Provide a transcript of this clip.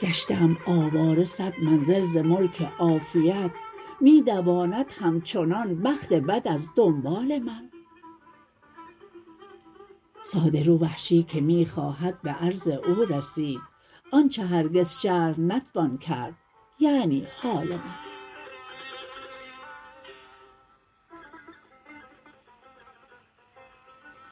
گشته ام آواره سد منزل ز ملک عافیت می دواند همچنان بخت بد از دنبال من ساده رو وحشی که می خواهد به عرض او رسید آنچه هرگز شرح نتوان کرد یعنی حال من